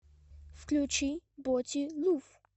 включи боти лув